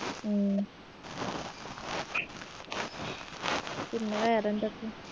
ഉം പിന്നെ വേറെന്തൊക്കെ